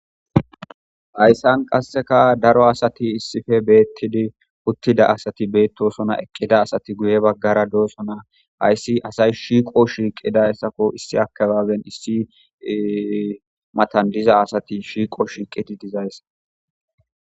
Ayssan qasseka daro asati issife beettidi uttida asati beettosona eqqida asati guye baggara doosona ayssi asay shiiqo shiiqida ssakko issi akabaaben issi matan diza asati shiiqo shiiqidi dizayss.